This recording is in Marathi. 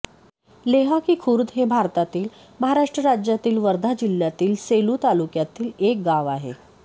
लेहाकी खुर्द हे भारतातील महाराष्ट्र राज्यातील वर्धा जिल्ह्यातील सेलू तालुक्यातील एक गाव आहे